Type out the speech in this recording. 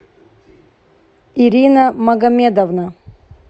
ирина магомедовна